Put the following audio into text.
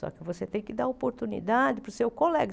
Só que você tem que dar oportunidade para o seu colega.